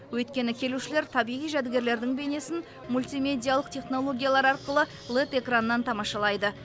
өйткені келушілер табиғи жәдігерлердің бейнесін мультимедиялық технологиялар арқылы лед экраннан тамашалайды